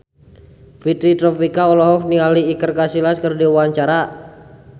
Fitri Tropika olohok ningali Iker Casillas keur diwawancara